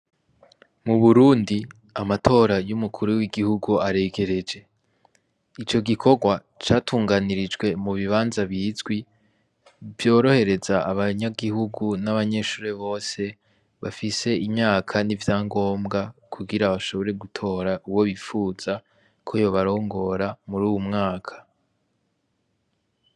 Mu Burundi, amatora y’umukuru w’igihugu aregereje. Ico gikorwa catunganirijwe mu bibanza bizwi, vyorohereza abanyagihugu n’abanyeshure bose bafise imyaka n’ivyangombwa kugira bashobore gutora uwo bipfuza ko yobarongora muri uyu mwaka.